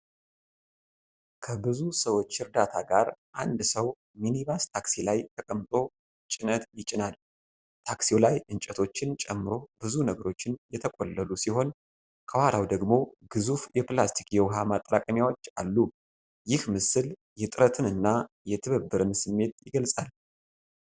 ከብዙ ሰዎች እርዳታ ጋር አንድ ሰው ሚኒባስ ታክሲ ላይ ተቀምጦ ጭነት ይጭናል። ታክሲው ላይ እንጨቶችን ጨምሮ ብዙ ነገሮች የተቆለሉ ሲሆን ከኋላው ደግሞ ግዙፍ የፕላስቲክ የውሃ ማጠራቀሚያዎች አሉ። ይህ ምስል የጥረትን እና የትብብርን ስሜት ይገልጻል።